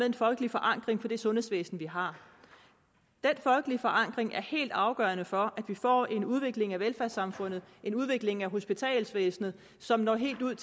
en folkelig forankring i det sundhedsvæsen vi har den folkelige forankring er helt afgørende for at vi får en udvikling af velfærdssamfundet en udvikling af hospitalsvæsenet som når helt ud